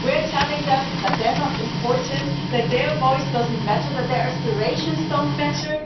We're telling them that they're not important, that their voice doesn't matter, that their aspirations don't matter.